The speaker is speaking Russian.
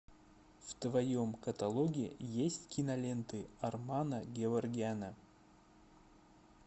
в твоем каталоге есть киноленты армана геворгяна